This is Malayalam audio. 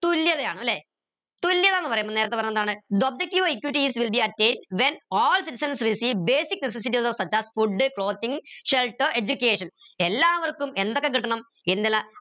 തുല്യതയാണ് ല്ലെ തുല്യതാന്ന് പറയുമ്പോ നേരത്തെ പറഞ്ഞ എന്താണ് the objective of equity is to attain when all citizens receive basic such as food clothing shelter education എല്ലാവർക്കും എന്തൊക്കെ കിട്ടണം